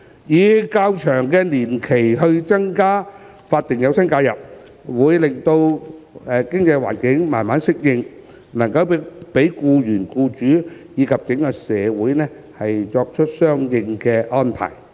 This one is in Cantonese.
以較長的年期增加法定有薪假日，有助經濟環境慢慢適應，讓僱員、僱主及整個社會作出相應安排。